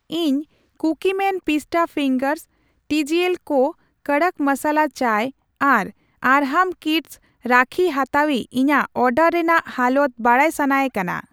ᱤᱧ ᱠᱩᱠᱤᱢᱮᱱ ᱯᱤᱥᱴᱟ ᱯᱷᱤᱝᱜᱟᱨᱥ, ᱴᱤᱡᱤᱮᱞ ᱠᱳᱹ ᱠᱚᱫᱚᱠ ᱢᱚᱥᱟᱞᱟ ᱪᱟᱭ ᱟᱨ ᱟᱨᱦᱟᱢ ᱠᱤᱰᱥ ᱨᱟᱠᱦᱤ ᱦᱟᱛᱟᱣᱤᱡᱽ ᱤᱧᱟᱜ ᱚᱰᱟᱨ ᱨᱮᱱᱟᱜ ᱦᱟᱞᱚᱛ ᱵᱟᱰᱟᱭ ᱥᱟᱱᱟᱭᱮ ᱠᱟᱱᱟ ᱾